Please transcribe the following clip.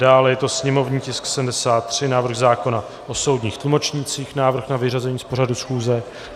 Dále je to sněmovní tisk 73 - návrh zákona o soudních tlumočnících - návrh na vyřazení z pořadu schůze.